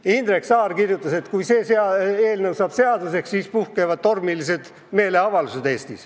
Ja Indrek Saar kirjutas, et kui see eelnõu saab seaduseks, siis puhkevad Eestis tormilised meeleavaldused.